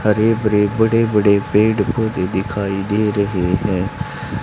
हरे भरे बड़े बड़े पेड़ पौधे दिखाई दे रहे है।